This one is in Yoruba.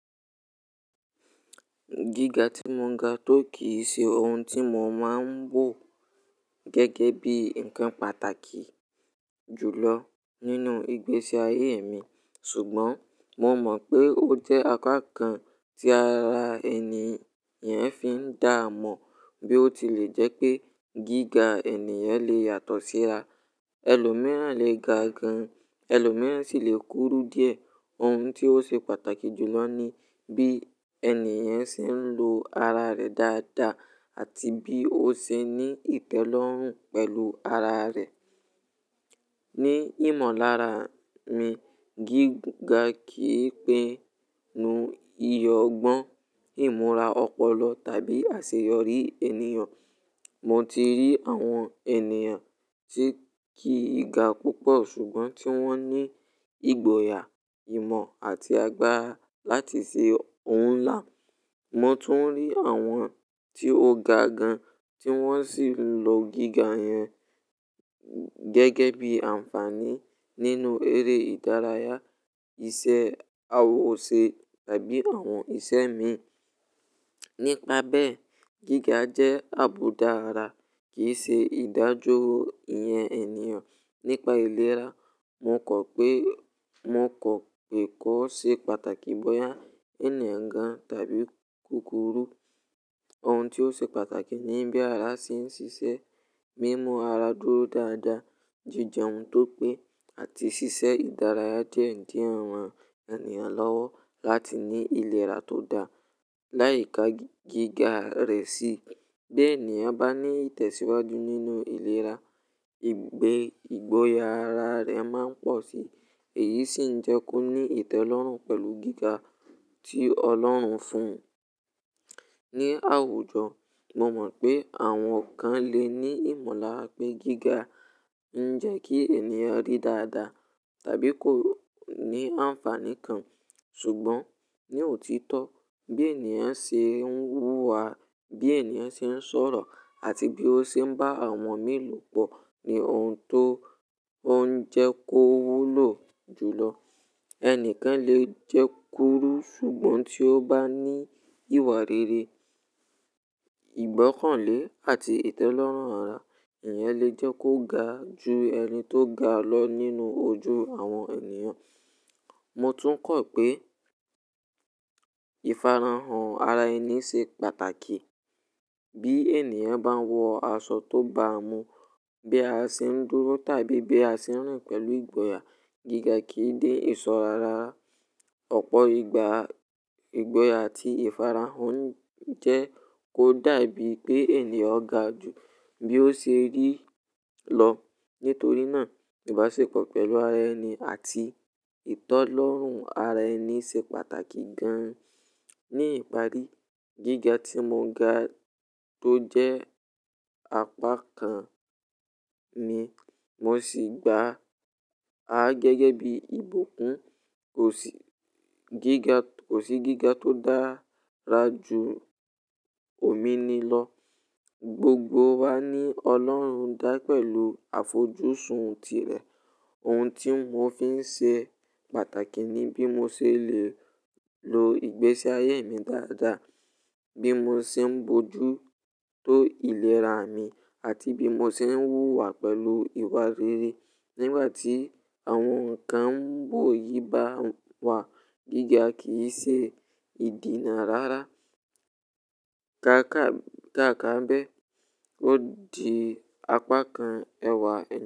Gíga tí mo ga tó kì í ṣe ohun tí mo máa ń wò gẹ́gẹ́ bí ǹkan pàtàkì jùlọ nínú ìgbésí ayé mi, ṣùgbọ́n mo mọ̀ pé ó jẹ́ apá kan tí ara ẹni yẹn fi ń dá mọ̀ bí ó ti lè jẹ́ pé gíga ènìyàn lè yàtọ̀ síra. Ẹlòmíràn lè ga gan, ẹlòmíràn sì lè kúrú díẹ̀. Ohun tí ó ṣe pàtàkì jùlọ ni bí ènìyàn ṣe ń lo ara rẹ̀ dáadáa àti bí ó ṣe ní ìtẹ́lọ́rùn pẹ̀lú ara rẹ̀. Ni ìmọ̀lára mi, gíga kì í pinu iyọ̀gbọ́n, ìmúra ọpọlọ tàbí àṣeyọrí ènìyàn. Mo ti rí àwọn ènìyàn tí kì í ga púpọ̀ ṣùgbọ́n tí wọ́n ní ìgboyà, ìmọ̀ àti agbára láti ṣe ohun ńlá. Mo tún rí àwọn tí ó ga gan tí wọ́n sì ń lo gíga yẹn gẹ́gẹ́ bí àǹfààní nínú eré ìdárayá, iṣẹ́ awòṣe tàbí àwọn ìṣe mi. Nípa bẹ́ẹ̀, gíga jẹ́ àbùdá ara kì í ṣe ìdájọ́ iyẹn ènìyàn. Nípa ìlera, mo kọ̀ pé, mo kọ̀ pé kó ṣe pàtàkì bóyá ènìyàn gan tàbí kúrú. Ohun tí ó ṣe pàtàkì ni bí ara ṣe ń ṣiṣẹ́, bí mo ara dúró dáadáa, jíjẹ ohun tó pé àti ṣíṣe ìdárayá diẹ́ diẹ rán ènìyàn lọ́wọ́ láti ní ìlera tó da. Láì ka gíga rẹ̀ si, bí ènìyàn bá ní ìtẹ̀síwájú nínú ìlera, ìgbé ìgboyà ara rẹ̀ máa ń pọ̀ si. Èyí sì ń jẹ́ kó ní ìtẹ́lọ́rùn pẹ̀lú gíga tí Ọlọ́run fún. Ni àwùjọ, mo mọ̀ pé àwọn kan le ní ìmọ̀lára pé gíga ń jẹ́ kí ènìyàn rí dáadáa tàbí kó ní àǹfààní kan. Ṣùgbọ́n ní òtítọ́, bí ènìyàn ṣe ń wúwa, bí ènìyàn ṣe ń sọ̀rọ̀ àti bí ó ṣe ń bá àwọn mìíràn lòpọ̀ ni ohun tó ń jẹ́ kó wúlò jùlọ. Ẹnìkan lè jẹ́ kúrú ṣùgbọ́n tí ó bá ní ìwà rere, ìgbọ́kànlé àti ìtẹ́lọ́rùn ara, ìyẹn lè jẹ́ kó ga ju ẹni tó ga lọ nínú ojú àwọn ènìyàn. Mo tún kọ̀ pé ìfarahàn ara ẹni ṣe pàtàkì. Bí ènìyàn bá ń wọ aṣọ tó ba mu, bí a ṣe ń dúró tàbí bí a ṣe ń rìn pẹ̀lú ìgboyà, gíga kì í dé ìsọ rárá. Ọ̀pọ̀ ìgbà, ìgboyà àti ìfarahàn ń jẹ́ kó dàbí pé ènìyàn ga jù bí ó ṣe rí i lọ. Nítorí náà, ìbáṣepọ̀ pẹ̀lú ara ẹni àti ìtọ́lọ́rùn ara ẹni ṣe pàtàkì gan. Ni ìparí, gíga tí mo ga tó jẹ́ apá kan mi, mo sì gbà á gẹ́gẹ́ bí ìbùkún. Kò sí, gíga, kò sí gíga tó dára ju omi ni lọ. Gbogbo wa ní Ọlọ́run dá pẹ̀lú àfojúsùn ti rẹ̀. Ohun tí mo fi ń ṣe pàtàkì ni bí mo ṣe lè lo ìgbésí ayé mi dáadáa, bí mo ṣe ń bojú tó ìlera mi àti bí mo ṣe ń wúwa pẹ̀lú ìwà rere. Nígbà tí àwọn ǹkan ń bò yí bá wà, gíga kì í ṣe ìdìná rárá. Káàkà, káàkà bẹ, yó di apá kan ẹwà ẹni.